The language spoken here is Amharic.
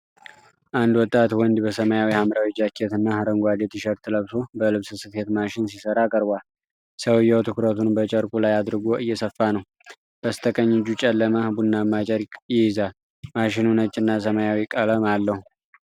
አንድ ወጣት ወንድ በሰማያዊ-ሐምራዊ ጃኬት እና አረንጓዴ ቲሸርት ለብሶ በልብስ ስፌት ማሽን ሲሰራ ቀርቧል። ሰውየው ትኩረቱን በጨርቁ ላይ አድርጎ እየሰፋ ነው፣ በስተቀኝ እጁ ጨለማ ቡናማ ጨርቅ ይይዛል። ማሽኑ ነጭ እና ሰማያዊ ቀለም አለው።